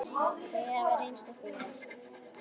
Þau hafa reynst okkur vel.